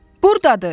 Buradadır!